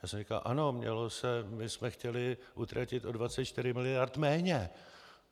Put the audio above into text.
Já jsem říkal: "Ano, mělo se, my jsme chtěli utratit o 24 mld. méně."